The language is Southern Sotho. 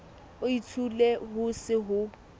o itshole ho se ho